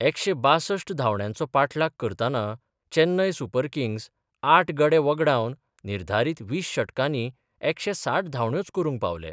एकशे बासश्ट धांवड्यांचो पाठलाग करताना चैन्नय सुपर किंग्स आठ गडे व्हगडावन निर्धारित वीस षटकानी एकशे साठ धांवड्योच करूंक पावले.